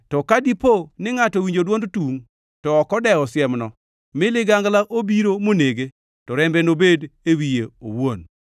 to ka dipo ni ngʼato owinjo dwond tungʼ, to ok odewo siemno, mi ligangla obiro monege, to rembe nobed e wiye owuon.